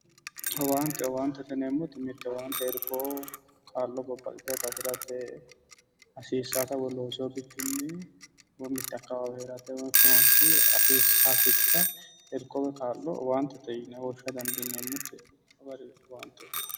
Owaante, owaantete yinneemmoti irko kaa'lo babbaxitinotta afirate hasiisanotta woyi loosino bikkinni woyi mitu manchi mite hasatto irko kaa'lo owaantete yinne woshsha dandineemmote